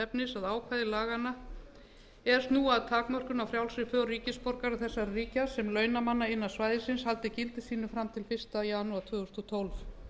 efnis að ákvæði laganna eiga að snúa að takmörkun á frjálsri för ríkisborgara þessara ríkja sem launamanna innan svæðisins haldi gildi sínu fram til fyrsta janúar tvö þúsund og tólf